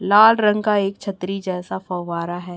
लाल रंग का एक छतरी जैसा फवारा है।